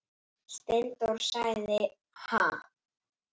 Steindór sagði: Ha?